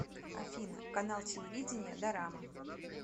афина канал телевидения дорама